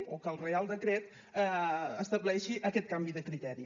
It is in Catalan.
o que el reial decret estableixi aquest canvi de criteri